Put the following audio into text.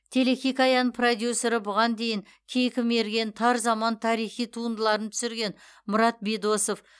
телехикаяның продюсері бұған дейін кейкі мерген тар заман тарихи туындыларын түсірген мұрат бидосов